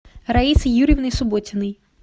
раисой юрьевной субботиной